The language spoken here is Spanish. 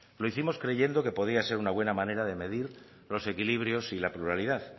lo hicimos creyendo que podía ser una buena manera de medir los equilibrios y la pluralidad